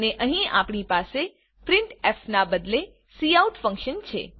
અને અહીં આપણી પાસે પ્રિન્ટફ ના બદલે કાઉટ ફન્કશન છે